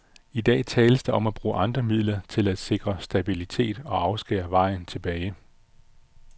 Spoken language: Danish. I dag tales der om at bruge andre midler til at sikre stabilitet og afskære vejen tilbage.